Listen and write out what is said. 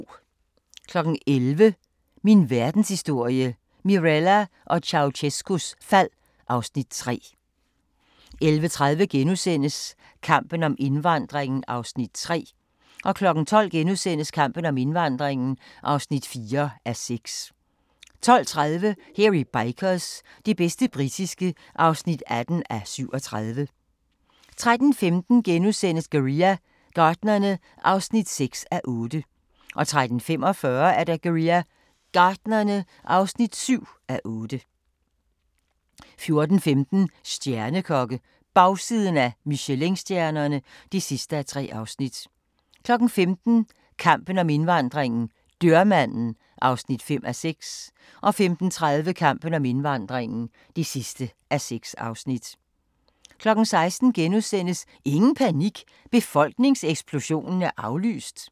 11:00: Min Verdenshistorie – Mirella og Ceaucescaus fald (Afs. 3) 11:30: Kampen om indvandringen (3:6)* 12:00: Kampen om indvandringen (4:6)* 12:30: Hairy Bikers – det bedste britiske (18:37) 13:15: Guerilla Gartnerne (6:8)* 13:45: Guerilla Gartnerne (7:8) 14:15: Stjernekokke - bagsiden af Michelinstjernerne (3:3) 15:00: Kampen om indvandringen - dørmanden (5:6) 15:30: Kampen om indvandringen (6:6) 16:00: Ingen panik – befolkningseksplosionen er aflyst! *